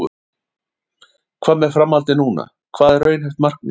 Hvað með framhaldið núna, hvað er raunhæft markmið?